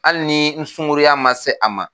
Hali ni n sunkuruya ma se a ma